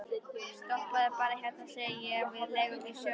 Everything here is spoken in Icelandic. Stoppaðu bara hérna, segi ég við leigubílstjórann.